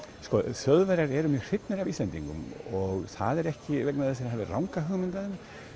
Þjóðverjar eru mjög hrifnir af Íslendingum og það er ekki vegna þess að þeir hafi ranga hugmynd af